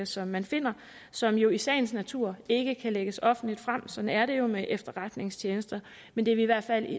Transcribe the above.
som man finder som jo i sagens natur ikke kan lægges offentligt frem sådan er det jo med efterretningstjenester men det vil i hvert fald